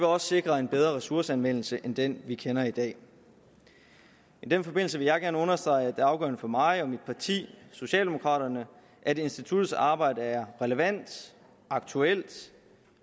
også sikre en bedre ressourceanvendelse end den vi kender i dag i den forbindelse vil jeg gerne understrege at det er afgørende for mig og mit parti socialdemokraterne at instituttets arbejde er relevant aktuelt